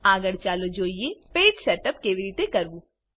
આગળ ચાલો જોઈએ પેજ સેટઅપ કેવી રીતે કરવું